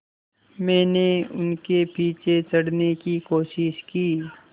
मैंने उनके पीछे चढ़ने की कोशिश की